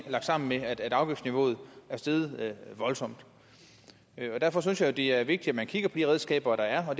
at afgiftsniveauet er steget voldsomt derfor synes jeg jo det er vigtigt at man kigger på de redskaber der er og